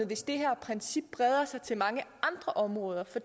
hvis det her princip breder sig til mange andre områder for